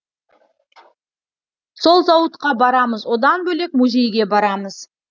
сол зауытқа барамыз одан бөлек музейге барамыз